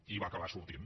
i va acabar sortint